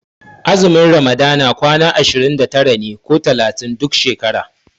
Azumin ramadana kwana ashirin da tara ne ko talatin duk shekara.